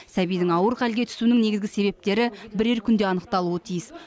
сәбидің ауыр халге түсуінің негізгі себептері бірер күнде анықталуы тиіс